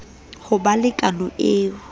ho ba le kano e